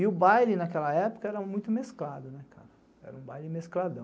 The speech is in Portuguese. E o baile naquela época era muito mesclado, era um baile mescladão.